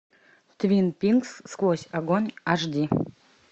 твин пикс сквозь огонь аш ди